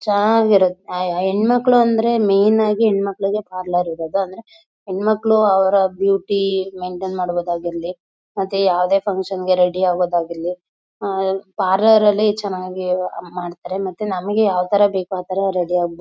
ಚನಾಗಿರುತ್ತೆ ಹ ಹ ಹೆಣ್ಣುಮಕ್ಳುಗೆ ಅಂದ್ರೆ ಮೇನ್ ಆಗ್ ಹೆಣ್ಣಮಕ್ಕಳಿಗೆ ಪಾರ್ಲರ್ ಇರದು ಅಂದ್ರೆ ಹೆಣ್ಮಕ್ಳು ಅವರ ಬ್ಯೂಟಿ ಮೈಂಟೈನ್ ಮಾಡಬೋದಾಗಿರ್ಲಿ ಮತ್ತೆ ಯಾವದೇ ಫುನ್ಕ್ಷನ್ ಗೆ ರೆಡಿ ಆಗೊದಾಗಿರ್ಲಿ ಹಾ ಪಾರ್ಲರ್ ಅಲ್ಲೇ ಚೆನ್ನಾಗ್ ಮಾಡ್ತಾರೆ ಮತ್ತೆ ನಮಗೆ ಯಾವ ಥರ ಬೇಕು ಆಥರ ರೆಡಿ ಆಗಬೋದ್.